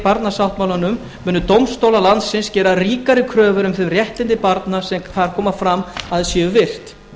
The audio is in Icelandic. barnasáttmálanum munu dómstólar landsins gera ríkari kröfur um þau réttindi barna sem þar koma fram að séu virt